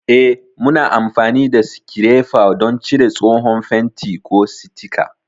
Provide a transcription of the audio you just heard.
Eh, muna amfani da sikirefa don cire tsohon fenti, ko sitika.